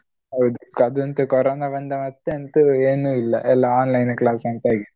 ಹೌದು ಅದಂತು ಕೊರೊನ ಬಂದ ಮತ್ತೆ ಅಂತು ಏನು ಇಲ್ಲ ಎಲ್ಲ online class ಅಂತ ಆಗಿದೆ.